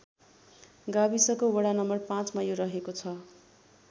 गाविस को वडा नं ५ मा यो रहेको छ।